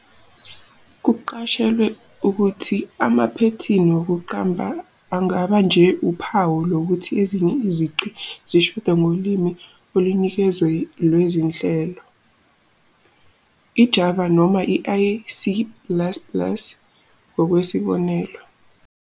Kuqashelwe ukuthi amaphethini wokuqamba angaba nje uphawu lokuthi ezinye izici zishoda ngolimi olunikeziwe lwezinhlelo, iJava noma i- C plus plus ngokwesibonelo.